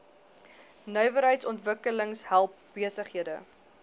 nywerheidsontwikkeling help besighede